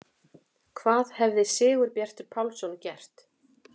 Hvað hefði Sigurbjartur Pálsson gert?